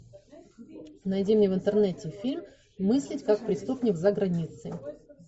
найди мне в интернете фильм мыслить как преступник за границей